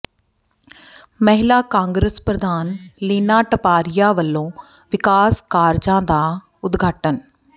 ਮਹਿਲਾ ਕਾਂਗਰਸ ਪ੍ਰਧਾਨ ਲੀਨਾ ਟਪਾਰੀਆ ਵੱਲੋਂ ਵਿਕਾਸ ਕਾਰਜਾਂ ਦਾ ਉਦਘਾਟਨ